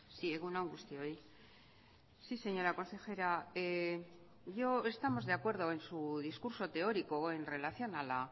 sí egun on guztioi sí señora consejera yo estamos de acuerdo en su discurso teórico en relación a la